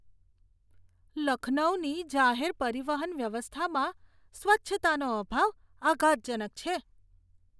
લખનૌની જાહેર પરિવહન વ્યવસ્થામાં સ્વચ્છતાનો અભાવ આઘાતજનક છે.